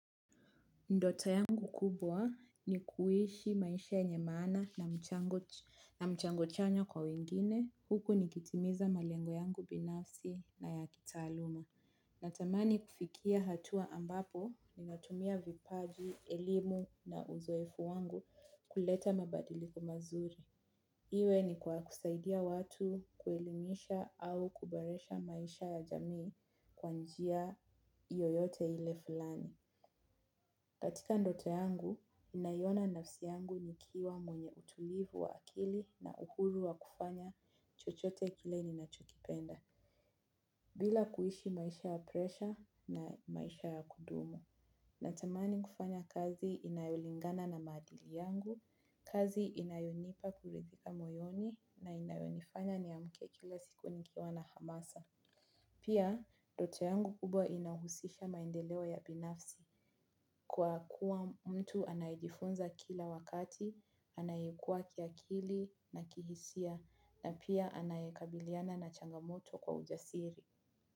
Ndoto yangu kubwa ni kuishi maisha nyenye maana na mchango chanya kwa wengine huku nikitimiza malengo yangu binafsi na ya kitaaluma. Natamani kufikia hatua ambapo ninatumia vipaji, elimu na uzoefu wangu kuleta mabadiliko mazuri. Iwe ni kwa kusaidia watu kuelimisha au kuboresha maisha ya jamii kwa njia yoyote ile fulani. Katika ndoto yangu, ninaiona nafsi yangu nikiwa mwenye utulivu wa akili na uhuru wa kufanya chochote kile ninachokipenda. Bila kuishi maisha ya presha na maisha ya kudumu. Natamani kufanya kazi inayolingana na maadili yangu, kazi inayonipa kuridhika moyoni na inayonifanya niamke kila siku nikiwa na hamasa. Pia ndoto yangu kubwa inahusisha maendeleo ya binafsi kwa kuwa mtu anayejifunza kila wakati anayekua kiakili na kihisia na pia anayekabiliana na changamoto na ujasiri.